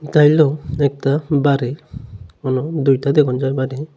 এতা হইলো একতা বাড়ি দুইতা দ্যাখন যায় বাড়ি।